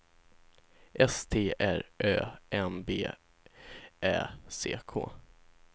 S T R Ö M B Ä C K